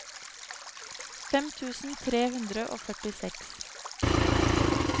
fem tusen tre hundre og førtiseks